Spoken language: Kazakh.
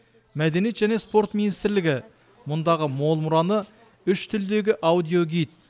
мәдениет және спорт министрлігі мұндағы мол мұраны үш тілдегі аудиогид